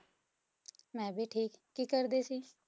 ਮੈਂ ਵੀ ਠੀਕ, ਕੀ ਕਰਦੇ ਸੀ?